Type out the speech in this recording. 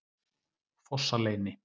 Fossaleyni